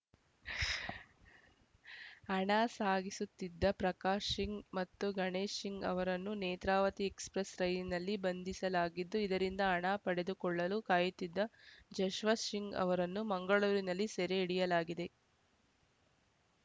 ಹಣ ಸಾಗಿಸುತ್ತಿದ್ದ ಪ್ರಕಾಶ್‌ ಶಿಂಗ್ ಮತ್ತು ಗಣೇಶ್‌ ಶಿಂಗ್‌ ಅವರನ್ನು ನೇತ್ರಾವತಿ ಎಕ್ಸ್‌ಪ್ರೆಸ್‌ ರೈಲಿನಲ್ಲಿ ಬಂಧಿಸಲಾಗಿದ್ದು ಇದರಿಂದ ಹಣ ಪಡೆದುಕೊಳ್ಳಲು ಕಾಯುತ್ತಿದ್ದ ಜಸ್ವಶ್ ಸಿಂಗ್‌ ಅವರನ್ನು ಮಂಗಳೂರಿನಲ್ಲಿ ಸೆರೆ ಹಿಡಿಯಲಾಗಿದೆ